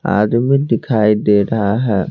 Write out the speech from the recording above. आदमी दिखाई दे रहा है।